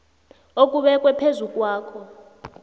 okubekwe phezu kwakhe